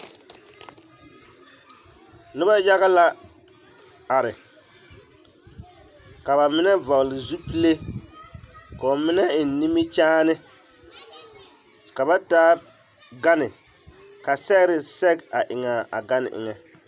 Noba yage la are ka bamine vɔgele zupile k'o mine eŋ nimikyaane ka ba taa gane ka sɛgere sɛge eŋ a gane eŋɛ.